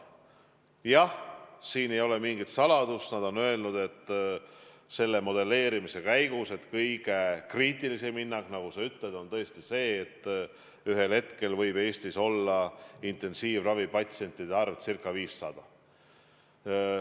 Jah, siin ei ole mingit saladust, nad on öelnud selle modelleerimise käigus, et kõige kriitilisem hinnang, nagu sa ütlesid, on tõesti see, et ühel hetkel võib Eestis olla intensiivravipatsientide arv ca 500.